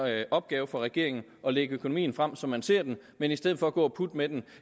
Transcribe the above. en opgave for regeringen at lægge økonomien frem som man ser den men i stedet for gå og putte med den